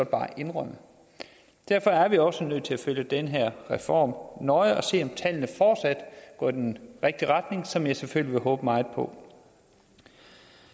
bare indrømme derfor er vi også nødt til at følge den her reform nøje og se om tallene fortsat går i den rigtige retning som jeg selvfølgelig vil håbe meget på